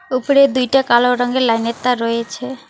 ওপরে দুইটা কালো রঙ্গের লাইন -এর তার রয়েছে।